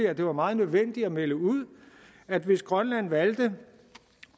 at det var meget nødvendigt at melde ud at hvis grønland valgte at